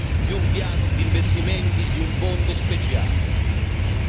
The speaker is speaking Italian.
Secondo bisogna accettare rischi più alti.